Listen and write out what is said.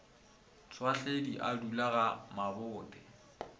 tšhwahledi a dula ga mabothe